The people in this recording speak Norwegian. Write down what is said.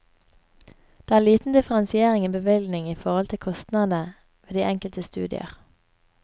Det er liten differensiering i bevilgning i forhold til kostnadene ved de enkelte studier.